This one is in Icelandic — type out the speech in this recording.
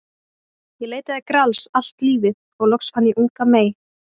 Ég leitaði Grals allt lífið og loks fann ég unga mey.